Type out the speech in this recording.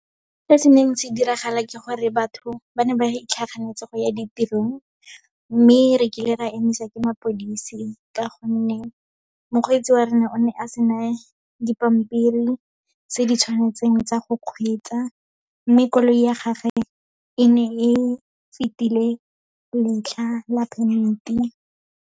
Se se neng se diragala ke gore batho ba ne ba itlhaganetse go ya ditirong. Mme re kile ra emisa ke mapodisi, ka gonne mokgweetsi wa rona o ne a sena dipampiri tse di tshwanetseng tsa go kgweetsa, mme koloi ya gage e ne e fetile letlha la permit-i.